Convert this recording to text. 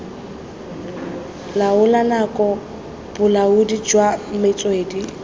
laola nako bolaodi jwa metswedi